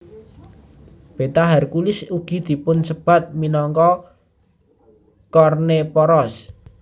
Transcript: Beta Herculis ugi dipunsebat minangka Kornephoros